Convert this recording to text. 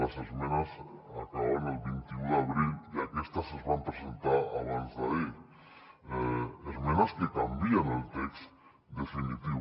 les esmenes acabaven el vint un d’abril i aquestes es van presentar abansd’ahir esmenes que canvien el text definitiu